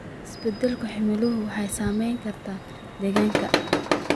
Isbeddelka cimiladu waxay saameyn kartaa deegaanka.